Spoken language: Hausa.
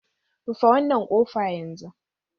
Rufe wannan kofa yanzu!